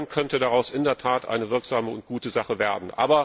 Dann könnte daraus in der Tat eine wirksame und gute Sache werden.